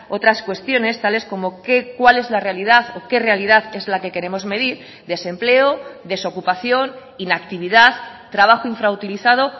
otras cuestiones tales cómo qué cuál es la realidad o qué realidad es la que queremos medir desempleo desocupación inactividad trabajo infrautilizado